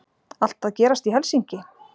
Allt að gerast í Helsinki!